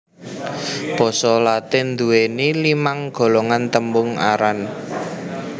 Basa Latin nduwèni limang golongan tembung aran